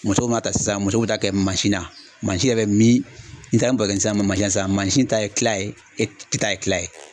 Musow ma ta sisan musow bɛ taa kɛ mansin na, mansin yɛrɛ bɛ min, nin taara nin masina sisan, mansin ta ye kila ye e ta ye kila ye.